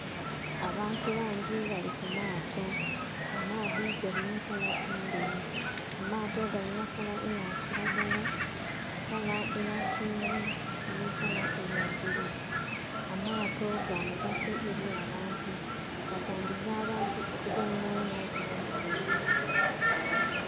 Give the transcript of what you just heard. Abantu bangi bali kumaato, amaadhi gali nha kala endheru, amaato galinha kala eya kiragala, kala eyakyenvu nhi kala eya bbululu. Amaato gamugaso ely'abantu gatambuza abantu okugya yona yona gyebali kwendha.